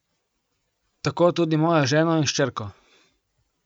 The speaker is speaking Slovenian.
Tako tudi mojo ženo in hčerko.